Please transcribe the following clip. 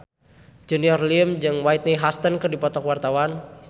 Junior Liem jeung Whitney Houston keur dipoto ku wartawan